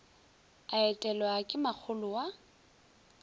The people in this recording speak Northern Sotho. a etelwa ke makgolo wa